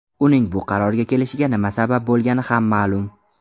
Uning bu qarorga kelishiga nima sabab bo‘lgani ham ma’lum.